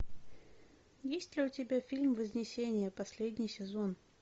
есть ли у тебя фильм вознесение последний сезон